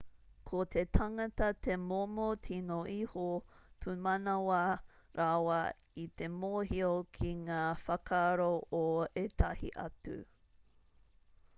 ko te tangata te momo tino iho pumanawa rawa i te mōhio ki ngā whakaaro o ētahi atu